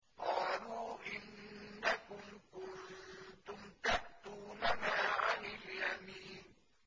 قَالُوا إِنَّكُمْ كُنتُمْ تَأْتُونَنَا عَنِ الْيَمِينِ